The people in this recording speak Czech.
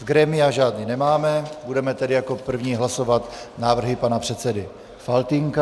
Z grémia žádné nemáme, budeme tedy jako první hlasovat návrhy pana předsedy Faltýnka.